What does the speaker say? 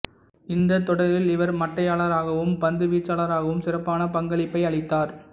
இந்தத் தொடரில் இவர் மட்டையாளராகவும் பந்து வீச்சாளராகவும் சிறப்பான பங்களிப்பை அளித்தார்